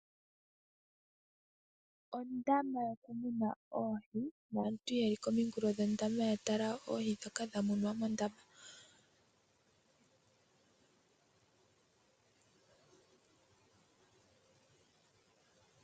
Ondama yokumuna oohi naantu yeli komikulo dhondama yatala oohi dhoka dhamunwamo mondama.